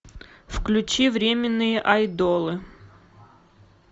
включи временные айдолы